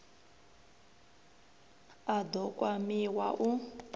a d o kwamiwa u